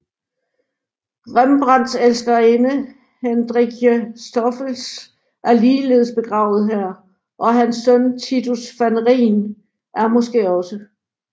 Rembrandts elskerinde Hendrickje Stoffels er ligeledes begravet her og hans søn Titus van Rijn er måske også